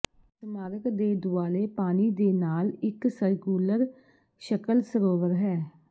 ਸਮਾਰਕ ਦੇ ਦੁਆਲੇ ਪਾਣੀ ਦੇ ਨਾਲ ਇੱਕ ਸਰਕੂਲਰ ਸ਼ਕਲ ਸਰੋਵਰ ਹੈ